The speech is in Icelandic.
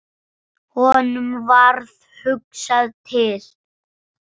Honum varð hugsað til